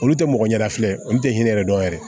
Olu tɛ mɔgɔ ɲɛfilen olu tɛ hinɛ yɛrɛ dɔn yɛrɛ